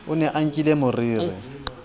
o ne a nkile moriri